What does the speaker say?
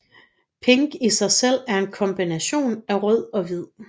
Pink i sig selv er en kombination af rød og hvid